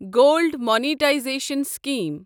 gold monetisation scheme